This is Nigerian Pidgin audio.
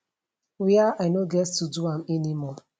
wia i no get to do am anymore